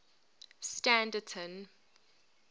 standerton